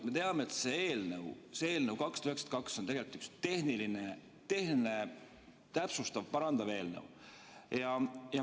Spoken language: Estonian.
Me teame, et see eelnõu 292 on tegelikult üks tehniline, täpsustav, parandav eelnõu.